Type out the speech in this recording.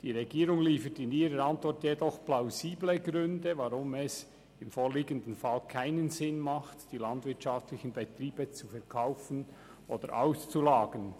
Die Regierung liefert in ihrer Antwort jedoch plausible Gründe, weshalb es im vorliegenden Fall keinen Sinn macht, die landwirtschaftlichen Betriebe zu verkaufen oder auszulagern.